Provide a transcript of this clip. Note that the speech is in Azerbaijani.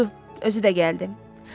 Budur, özü də gəldi.